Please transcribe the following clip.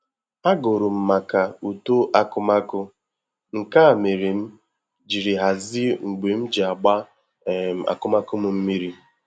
Agụrụ m maka uto akụmakụ, nke a mere m jiri hazie mgbe m ji agba um akụmakụ m mmiri